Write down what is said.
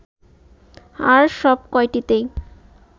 আর সব কয়টিতেই